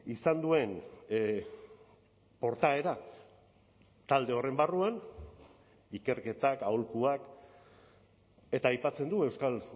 izan duen portaera talde horren barruan ikerketak aholkuak eta aipatzen du euskal